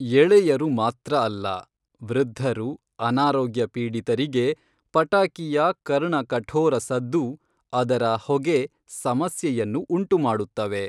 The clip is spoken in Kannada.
ಎಳೆಯರು ಮಾತ್ರ ಅಲ್ಲ, ವೃದ್ಧರು, ಅನಾರೋಗ್ಯ ಪೀಡಿತರಿಗೆ ಪಟಾಕಿಯ ಕರ್ಣಕಠೋರ ಸದ್ದು, ಅದರ ಹೊಗೆ ಸಮಸ್ಯೆಯನ್ನು ಉಂಟು ಮಾಡುತ್ತವೆ.